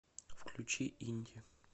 включи инди